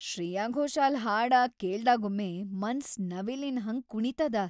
ಶ್ರೇಯಾ ಘೋಷಾಲ್ ಹಾಡಾ ಕೇಳ್ದಾಗೊಮ್ಮೆ ಮನ್ಸ್‌ ನವಿಲಿನ್‌ ಹಂಗ್ ಕುಣೀತದ.